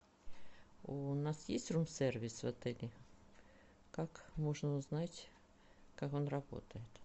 у нас есть рум сервис в отеле как можно узнать как он работает